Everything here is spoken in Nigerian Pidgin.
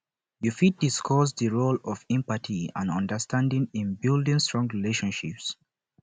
yu fit discuss di role of empathy and understanding in building strong freindships